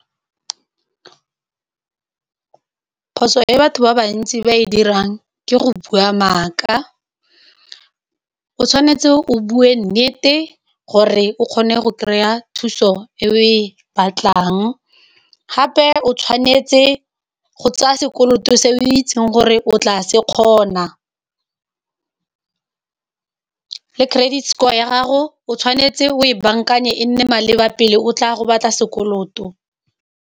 Phoso e batho ba bantsi ba e dirang ke go bua maaka o tshwanetse o bue nnete gore o kgone go kry-a thuso e o e batlang, gape o tshwanetse go tsaya sekoloto se o itseng gore o tla se kgona le credit score ya gago o tshwanetse o e bankanya e nne maleba pele o tla gobatsa sekoloto.